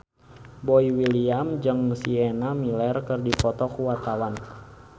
Boy William jeung Sienna Miller keur dipoto ku wartawan